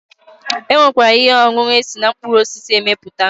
E nwekwara ihe ọṅụṅụ esi na mkpụrụ osisi emepụta